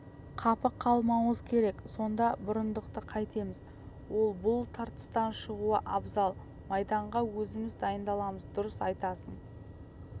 қапы қалмауымыз керек сонда бұрындықты қайтеміз ол бұл тартыстан шығуы абзал майданға өзіміз дайындаламыз дұрыс айтасың